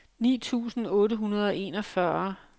ni tusind otte hundrede og enogfyrre